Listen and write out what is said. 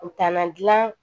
U taa na dilan